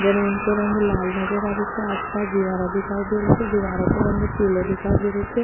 जमीं को रंग लाल नजर आ रेहो छे आस पास दीवारा दिखाई दे री छे दीवारों को रंग पीलो दिखाई दे रेहो छे।